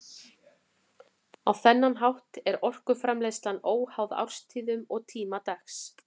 Á þennan hátt er orkuframleiðslan óháð árstíðum og tíma dags.